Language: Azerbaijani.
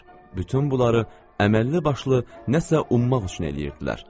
Bütün bunları əməlli başlı nə isə ummaq üçün eləyirdilər.